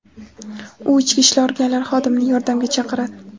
U ichki ishlar organlari xodimini yordamga chaqiradi.